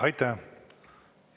Aitäh!